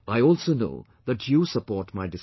I also know that you support my decision